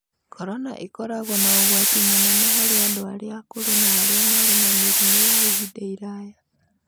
Korona ĩkoragwo na ũgwati mũnene harĩ andũ arĩa akũrũ na arĩa marĩ na mĩrimũ ya ihinda iraya.